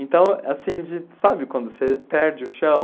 Então, assim de... sabe quando você perde o chão?